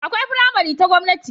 Akwai faramari ta gwamnati